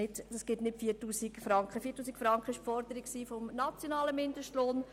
4000 Franken betrug die Forderung nach dem nationalen Mindestlohn.